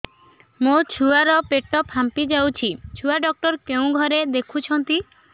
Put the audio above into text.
ମୋ ଛୁଆ ର ପେଟ ଫାମ୍ପି ଯାଉଛି ଛୁଆ ଡକ୍ଟର କେଉଁ ଘରେ ଦେଖୁ ଛନ୍ତି